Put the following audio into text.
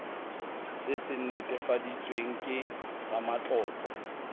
se se netefaditsweng ke ramatlotlo